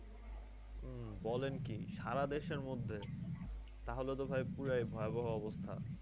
বলেন কি সারা দেশের মধ্যে? তাহলে তো ভাই পুরাই ভয়াবহ অবস্থা।